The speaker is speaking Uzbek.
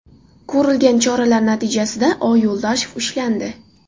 Ko‘rilgan choralar natijasida O. Yuldashev ushlandi.